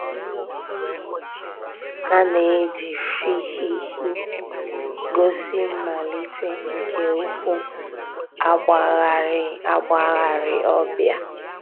A nà-èjì fhịhị gósì mmàlítè nke ǔ́kwụ̀ àgbàghàrì àgbàghàrì ọ̀ bịa.